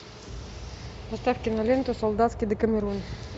поставь киноленту солдатский декамерон